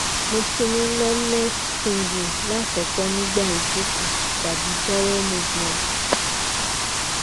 mo ti ni numbness tingling lakoko nigba ijoko tabi bowel movement